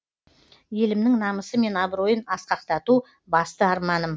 елімнің намысы мен абыройын асқақтату басты арманым